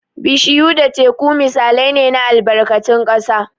Bishiyu da Teku misalai ne na albarkatun ƙasa.